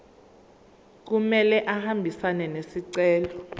kumele ahambisane nesicelo